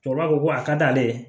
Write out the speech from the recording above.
Tubabu ko a ka d'ale ye